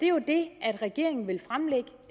jo det regeringen vil fremlægge